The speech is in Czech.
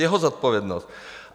Jeho zodpovědnost!